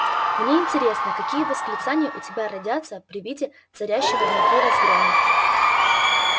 мне интересно какие восклицания у тебя родятся при виде царящего внутри разгрома